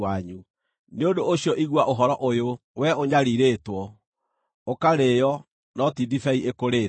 Nĩ ũndũ ũcio igua ũhoro ũyũ, wee ũnyariirĩtwo, ũkarĩĩo, no ti ndibei ĩkũrĩĩte.